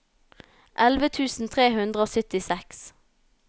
elleve tusen tre hundre og syttiseks